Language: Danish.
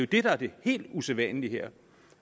det der er det helt usædvanlige her